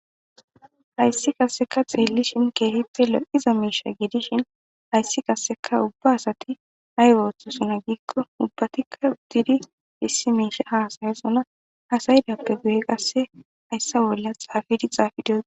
hayssi qasseka xeelli shinke hitte lo7iza miisha giidishin hayssi kasseka ubba asati naygooththo sinagiikko ubbatikka didi dissi miisha hasaye sona asaydappe guye qasse hayssa bolla xaafidi xaafi dia